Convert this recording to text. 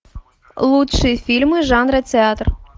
лучшие фильмы жанра театр